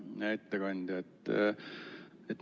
Hea ettekandja!